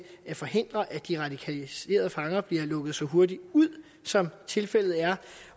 at forhindre at de radikaliserede fanger bliver lukket så hurtigt ud som tilfældet er